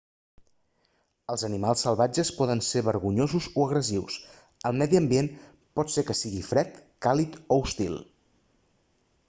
els animals salvatges poden ser vergonyosos o agressius el medi ambient pot ser que sigui fred càlid o hostil